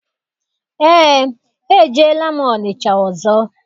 Eé, ejeela m Ọnịcha ọzọ.